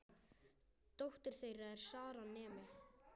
Dóttir þeirra er Sara, nemi.